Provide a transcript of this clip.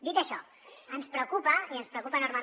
dit això ens preocupa i ens preocupa enormement